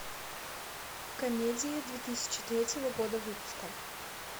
комедии две тысячи третьего года выпуска